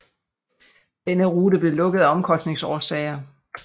Denne rute blev lukket af omkostningsårsager